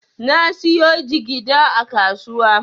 Na siyo jigida a kasuwa.